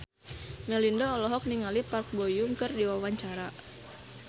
Melinda olohok ningali Park Bo Yung keur diwawancara